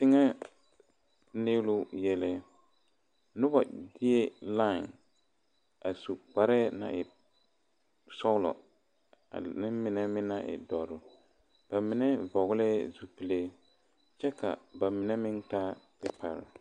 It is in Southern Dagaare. Teŋa nelo nelo noba be lae a su kparre naŋ e sɔglɔ ane mine meŋ naŋ e doɔre ba mine vɔgle zupele kyɛ ka ba mine meŋ taa pepare.